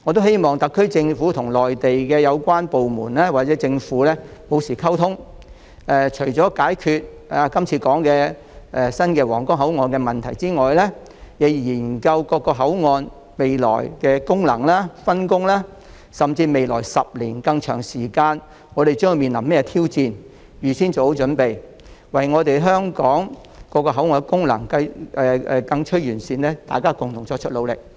希望特區政府與內地有關部門或政府保持溝通，除解決剛才提到的皇崗口岸的問題外，亦須研究各口岸未來的功能及分工，甚至探討我們將於未來10年以至更長時間面對甚麼挑戰，預先作好準備，一同為香港各口岸的功能更趨完善作出努力。